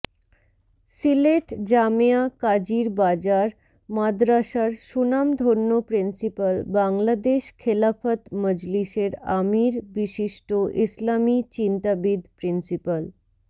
সিলেট জামেয়া কাজির বাজার মাদরাসার সুনামধন্য প্রিন্সিপাল বাংলাদেশ খেলাফত মজলিসের আমীর বিশিষ্ট ইসলামী চিন্তাবিদ প্রিন্সিপাল